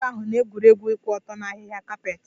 Ụmụaka ahụ na-egwuri egwu ụkwụ ọtọ na ahịhịa kapet